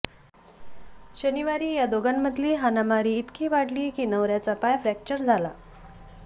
शनिवारी या दोघांमधील हाणामारी इतकी वाढली की नवऱ्याचा पाय फ्रॅक्चर झाला